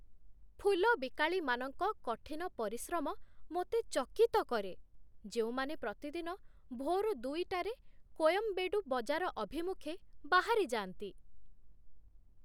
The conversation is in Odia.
ଫୁଲ ବିକାଳିମାନଙ୍କ କଠିନ ପରିଶ୍ରମ ମୋତେ ଚକିତ କରେ, ଯେଉଁମାନେ ପ୍ରତିଦିନ ଭୋର ଦୁଇ ଟାରେ କୋୟମ୍ବେଡୁ ବଜାର ଅଭିମୁଖେ ବାହାରି ଯାଆନ୍ତି।